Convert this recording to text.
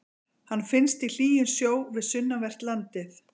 Hann finnst í hlýjum sjó við sunnanvert landið.